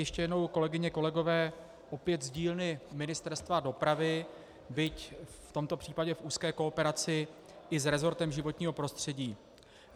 Ještě jednou, kolegyně, kolegové, opět z dílny Ministerstva dopravy, byť v tomto případě v úzké kooperaci i s resortem životního prostředí.